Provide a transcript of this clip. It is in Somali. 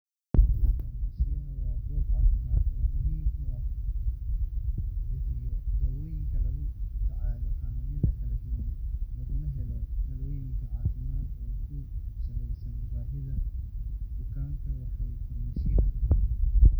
Farmashiyaha waa goob caafimaad oo muhiim ah oo lagu bixiyo dawooyinka lagula tacaalo xanuunnada kala duwan, laguna helo talooyin caafimaad oo ku saleysan baahida bukaanka. Waxaa farmashiyeyaasha.